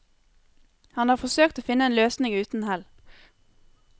Han har forsøkt å finne annen løsning uten hell.